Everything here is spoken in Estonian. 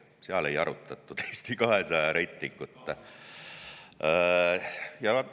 Seal ei arutatud Eesti 200 reitingut.